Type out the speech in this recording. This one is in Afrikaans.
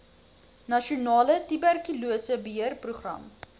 nasionale tuberkulose beheerprogram